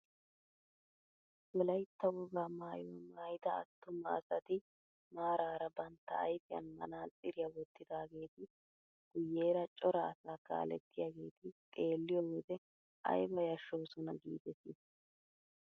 Wolaytta wogaa maayuwaa maayida attuma asati maarara bantta ayfiyaan manaatsiriyaa wottidaageti guyeera cora asaa kalettiyaageti xeelliyoo wode ayba yashshoosona giidetii!